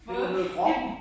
Eller noget rom?